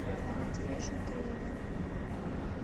ред фэшн трейлер